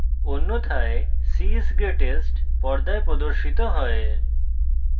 অন্যথায় c is greatest পর্দায় প্রদর্শিত হয়